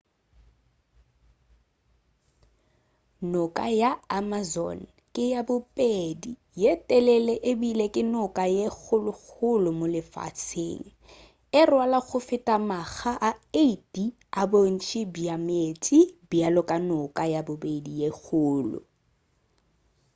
noka ya amazon ke ya bobedi ye telele ebile ke noka ye kgolokgolo mo lefaseng e rwala go feta makga a 8 a bontši bja meetse bjalo ka noka ya bobedi ye kgolo